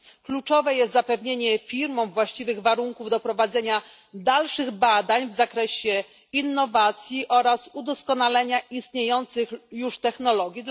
Kluczowe jest zapewnienie firmom właściwych warunków do prowadzenia dalszych badań w zakresie innowacji oraz udoskonalenia istniejących już technologii.